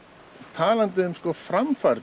talandi um framfarir